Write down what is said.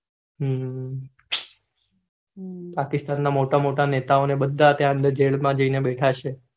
હમ અ પાકિસ્તાન ના મોટા મોયા નેતાઓ jail માં જઈને બેધા છે